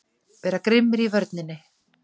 Vera grimmir í vörninni!